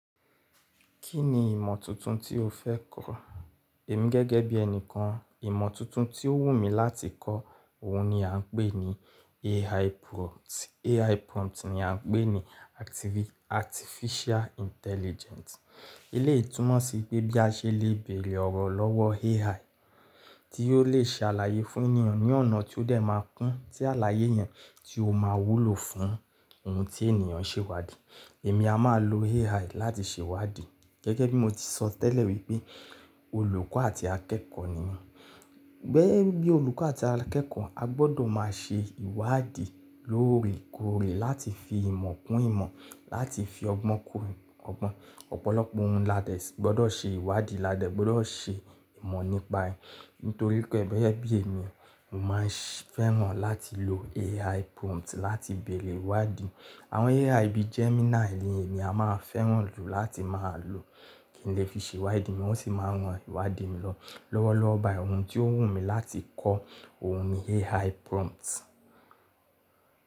Kí ni ìmọ̀ tuntun tí o fẹ́ kọ̀? Èmi gẹ́gẹ́ bí ẹni kan, ìmọ̀ tuntun tí ó wù mí láti kọ́, òhun ni à ń pè ní AI prompt. AI prompt ni à ń pè ní Artificial Intelligent. Eleyi tumọ̀ sí i pé bí a ṣe lè bèèrè ọ̀rọ̀ lọ́wọ́ AI tí yoó lè ṣalàyé fún ènìyàn ní ọ̀nà tí ó dẹ̀ máa kún, tí àlàyé yẹn tí ó máa wúlò fún ohun tí ènìyàn ṣèwádìí. Èmi a máa lo AI láti ṣèwádìí. Gẹ́gẹ́ bí mo ti sọ tẹ́lẹ̀ wípé olùkọ́ àti akẹ́kọ̀ọ́ ni mi. Gẹ́gẹ́ bí olùkọ́ àti akẹ́kọ̀ọ́, a gbọdọ̀ máa ṣe ìwádìí lóòrèkóòrè láti fi ìmọ̀ kún ìmọ̀, láti fi ọgbọ́n kún ọgbọ́n. Ọ̀pọ̀lọpọ̀ ohun ládẹ̀ gbọdọ̀ ṣe ìwádìí, ládẹ̀ gbọdọ̀ ṣe ìmọ̀ nípa ẹ̀. Nítorí pé gẹ́gẹ́ bí èmi, mo máa ń fẹ́ràn láti lo AI prompt láti bèèrè ìwádìí. Àwọn AI bíi Gemini nì emi a máa ń fẹ́ràn jù láti máa lò kí n lè fi ṣe ìwádìí mi wọ́n sì máa rán ìwádìí mi lọ́wọ́ lọ́wọ́ ba ohun tí ó wù mí láti kọ́ ohun ni AI prompt.